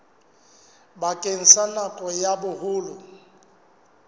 bakeng sa nako ya boholo